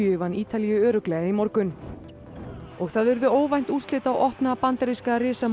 vann Ítalíu örugglega í morgun og það urðu óvænt úrslit á opna bandaríska